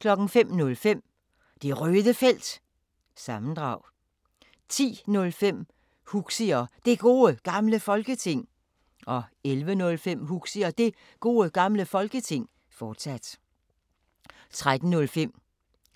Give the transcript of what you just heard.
05:05: Det Røde Felt – sammendrag 10:05: Huxi og Det Gode Gamle Folketing 11:05: Huxi og Det Gode Gamle Folketing, fortsat 13:05: